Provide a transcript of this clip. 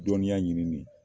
Dɔnniya ɲini ni